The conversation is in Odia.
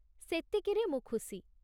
ସେତିକିରେ ମୁଁ ଖୁସି।